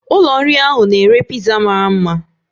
Ụlọ nri ahụ na-ere piza mara mma